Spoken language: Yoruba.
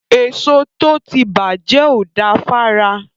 Èso tó ti bàjẹ́ ò da fára.